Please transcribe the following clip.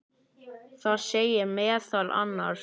Það segir meðal annars